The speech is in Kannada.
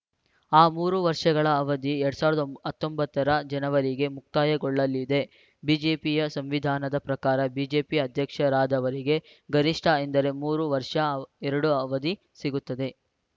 ಆ ಮೂರು ವರ್ಷಗಳ ಅವಧಿ ಎರಡ್ ಸಾವಿರದ ಹತ್ತೊಂಬತ್ತರ ಜನವರಿಗೆ ಮುಕ್ತಾಯಗೊಳ್ಳಲಿದೆ ಬಿಜೆಪಿಯ ಸಂವಿಧಾನದ ಪ್ರಕಾರ ಬಿಜೆಪಿ ಅಧ್ಯಕ್ಷರಾದವರಿಗೆ ಗರಿಷ್ಠ ಎಂದರೆ ಮೂರು ವರ್ಷ ಎರಡು ಅವಧಿ ಸಿಗುತ್ತದೆ